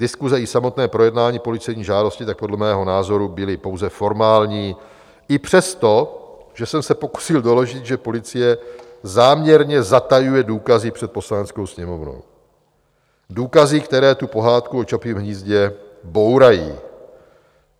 Diskuse i samotné projednání policejní žádosti tak podle mého názoru byly pouze formální i přesto, že jsem se pokusil doložit, že policie záměrně zatajuje důkazy před Poslaneckou sněmovnou - důkazy, které tu pohádku o Čapím hnízdě bourají.